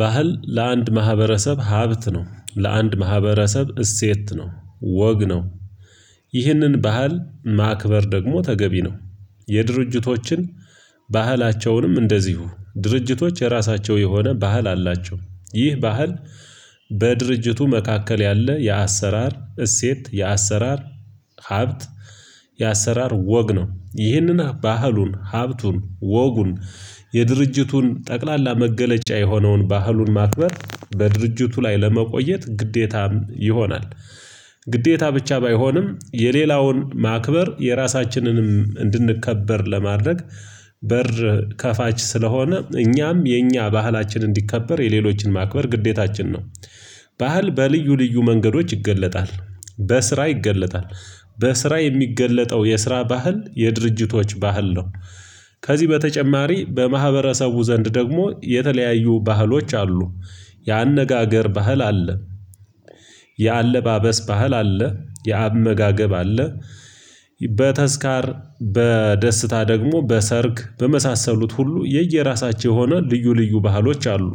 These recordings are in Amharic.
ባህል ለአንድ ማህበረሰብ ሀብት ነው ለአንድ ማህበረሰብ እሴት ነው ወግ ነው። ይህንን ባህል ማክበር ደግሞ ተገቢ ነው። የድርጅቶችን ባህላቸውንም እንደዚሁ ድርጅቶች የራሳቸው የሆነ ባህል አላቸው። ይህ ባህል በድርጅቱ መካከል ያለ የአሰራር እሴት የአሰራር ሀብት። የአሰራር ወግ ነው ይህንን ባህሉን ሀብቱን ወጉን የድርጅቱን ጠቅላላ መገለጫ የሆነውን ባህሉን ማቅረብ በድርጅቱ ላይ ለመቆየት ግዴታም ይሆናል። ግዴታ ብቻ ባይሆንም የሌላውን ማክበር የራሳችንንም እንድንከበር ለማድረግ በር ከፋች ስለሆነ እኛም የእኛ ባህላችን እንዲከበር የሌሎችን ማክበር ግዴታችን ነው። ባህል በልዩ ልዩ መንገዶች ይገለጣል። በስራ ይገለጣል በስራ የሚገለጠው የስራ ባህል የድርጅቶች ባህል ነው። ከዚህ በተጨማሪ በማህበረሰቡ ዘንድ ደግሞ የተለያዩ ባህሎች አሉ። የአነጋገር ባህል አለ። የአለባበስ ባህል አለ የአመጋገብ አለ። በተዝካር በደስታ ደግሞ በሰርግ በመሳሰሉት ሁሉ የየራሳቸው የሆኑ ልዩ ልዩ ባህሎች አሉ።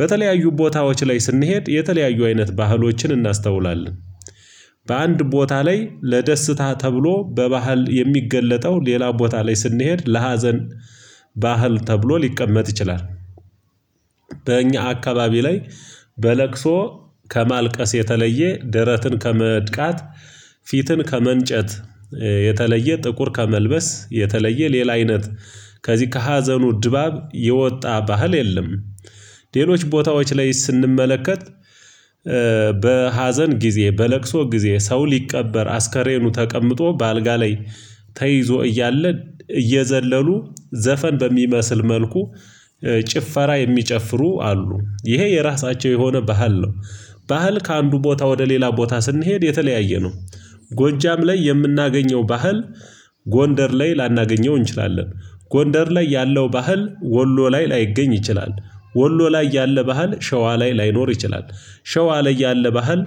በተለያዩ ቦታዎች ላይ ስንሄድ የተለያዩ አይነት ባህሎችን እናስተውላለን። በአንድ ቦታ ላይ ለደስታ ተብሎ በባህል የሚገለጠው ሌላ ቦታ ላይ ስንሄድ ለሀዘን ባህል ተብሎ ሊቀመጥ ይችላል። በእኛ አካባቢ ላይ በለቅሶ ከማልቀስ የተለየ ደረትን ከመድቃትፊትን ከመንጨት የተለየ ጥቁር ከመልበስ የተለየ ሌላ አይነት ከዚህ ከሀዘኑ ድባብ የወጣ ባህል የለም። ሌሎች ቦታዎች ላይ ስንመለከት ጊዜ በለቅሶ ጊዜ ሰው ሊቀበር አስከሬኑ ተቀምጦ በአልጋ ላይ ተይዞ እያለ እየዘለሉ ዘፈን በሚመስል መልኩ ጭፈራ የሚጨፍሩ አሉ ይሄ የራሳቸው የሆነ ባህል ነው። ባህል ከአንዱ ቦታ ወደ ሌላ ቦታ ስንሄድ የተለያየ ነው። ጎጃም ላይ የምናገኘው ባህል ጎንደር ላይ ላናገኘው እንችላለን። ጎንደር ላይ ያለው ባህል ወሎ ላይ ላይገኝ ይችላል። ወሎ ላይ ያለ ባህል ሸዋ ላይ ላይኖር ይችላል። ሸዋ ላይ ያለ ባህል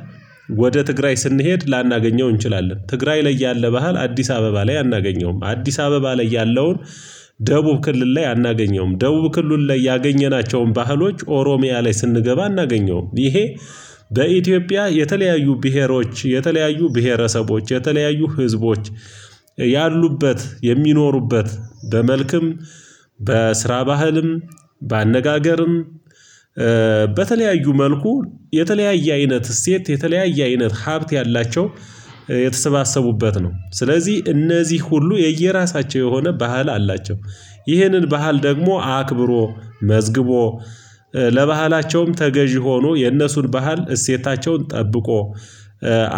ወደ ትግራይ ስንሄድ ላናገኘው እንችላለን ትግራይ ላይ ያለ ባህል አዲስ አበባ ላይ አናገኘውም። አዲስ አበባ ላይ ያለውን ደቡብ ክልል ላይ አናገኘውም ደቡብ ክልል ላይ ያገኘናቸውን ባህሎች ኦሮሚያ ላይ ስንገባ አናገኘውም ይሄ። በኢትዮጵያ የተለያዩ ብሄሮች የተለያዩ ብሄረሰቦች የተለያዩ ህዝቦች ያሉበት የሚኖሩበት በመልክም በስራ ባህልም በአነጋገርም በተለያዩ መልኩ የተለያየ አይነት እሴት የተለያየ አይነት ሀብት ያላቸው የተሰባሰቡበት ነው። ስለዚህ እነዚህ ሁሉ የየራሳቸው የሆነ ባህል አላቸው። ይህንን ባህል ደግሞ አክብሮ መዝግቦ ለባህላቸውም ተገዢ ሆኖ የነሱን ባህል እሴታቸውን ጠብቆ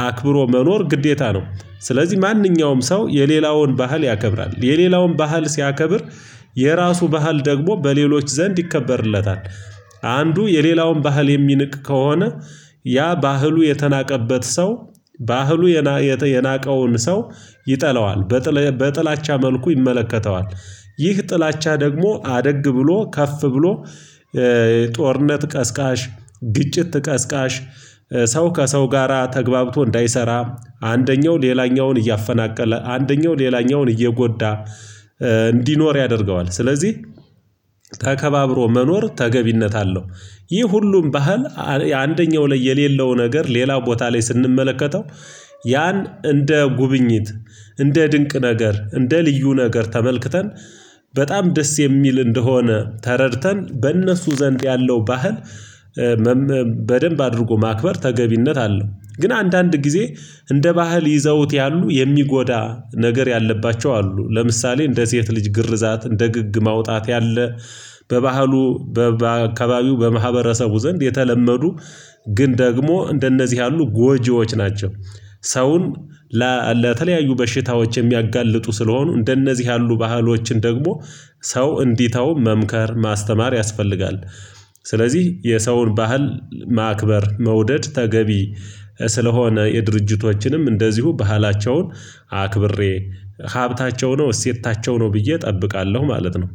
አክብሮ መኖር ግዴታ ነው። ስለዚህ ማንኛውም ሰው የሌላውን ባህል ያከብራል የሌላውን ባህል ሲያከብር የራሱ ባህል ደግሞ በሌሎች ዘንድ ይከበርለታል። አንዱ የሌላውን ባህል የሚንቅ ከሆነ ያ ባህሉ የተናቀበት ሰው ባህሉ የናቀውን ሰው ይጠለዋል በጥላቻ መልኩ ይመለከተዋል። ይህ ጥላቻ ደግሞ አደግ ብሎ ከፍ ብሎ ጦርነት ቀስቃሽ ግጭት ቀስቃሽ ሰው ከሰው ጋራ ተግባብቶ እንዳይሰራ አንደኛው ሌላኛውን እያፈናቀለ አንደኛው ሌላኛውን እየጎዳ። እንዲኖር ያደርገዋል ስለዚህ ተከባብሮ መኖር ተገቢነት አለው። ይህ ሁሉም ባህል አንደኛው ላይ የሌለው ነገር ሌላው ቦታ ላይ ስንመለከተው ያን እንደ ጉብኝት እንደ ድንቅ ነገር እንደ ልዩ ነገር ተመልክተን በጣም ደስ የሚል እንደሆነ ተረድተን በእነሱ ዘንድ ያለው ባህል። በደንብ አድርጎ ማክበር ተገቢነት አለው። ግን አንዳንድ ጊዜ እንደ ባህል ይዘውት ያሉ የሚጎዳ ነገር ያለባቸው አሉ። ለምሳሌ እንደ ሴት ልጅ ግርዛት እንደ ግግ ማውጣት ያለ በባህሉ በአካባቢው በማህበረሰቡ ዘንድ የተለመዱ ግን ደግሞ እንደነዚህ ያሉ ጎጂዎች ናቸው። ሰውን ለተለያዩ በሽታዎች የሚያጋልጡ ስለሆኑ እንደነዚህ ያሉ ባህሎችን ደግሞ ሰው እንዲተው መምከር ማስተማር ያስፈልጋል። ስለዚህ የሰውን ባህል ማክበር መውደድ ተገቢ ስለሆነ የድርጅቶችንም እንደዚሁ ባህላቸውን አክብሬ ሀብታቸው ነው እሴታቸው ነው ብዬ እጠብቃለሁ ማለት ነው።